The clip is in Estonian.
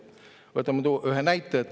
Võtame ühe näite.